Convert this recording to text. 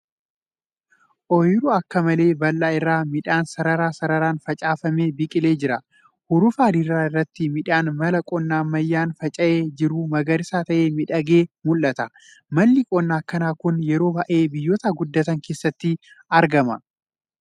Ooyiruu akka malee bal'aa irra midhaan sarara sararaan facaafame biqilee jira. Hurufa diriiraa irratti midhaan mala qonna ammayyaan faca'ee jiru magariisa ta'ee miidhagee mul'ata. Malli qonnaa akkanaa kun yeroo baay'ee biyyoota guddatan keessatti argama.